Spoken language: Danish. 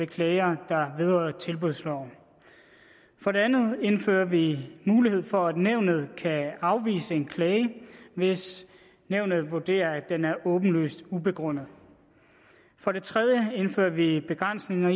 klager der vedrører tilbudsloven for det andet indfører vi mulighed for at nævnet kan afvise en klage hvis nævnet vurderer at den er åbenlyst ubegrundet for det tredje indfører vi begrænsninger